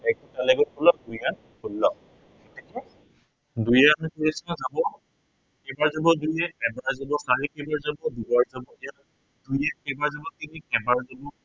দুইৰে আঠক কেইবাৰ যাব, এতিয়া কেইবাৰ যাব দুইৰে, এবাৰ যাব, চাৰিয়ে কেইবাৰ যাব দুবাৰ যাব। এতিয়া দুইৰে কেইবাৰ যাব তিনিক এবাৰ যাব।